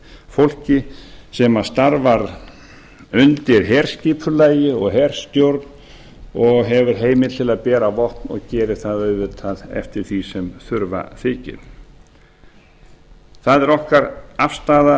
fólki sem starfar undir herskipulagi og herstjórn og hefur heimild til að bera vopn og gera það auðvitað eftir ári sem þurfa þykir það er okkar afstaða